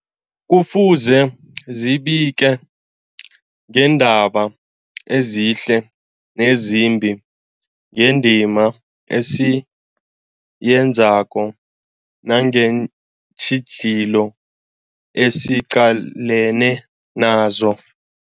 Kufuze zibike ngeendaba ezihle nezimbi, ngendima esiyenzako nangeentjhijilo esiqalene nazo.